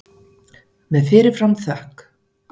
Með fyrir fram þökk.